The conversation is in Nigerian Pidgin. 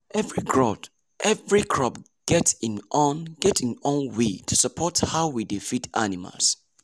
every crop get im get im own way to support how we dey feed animals.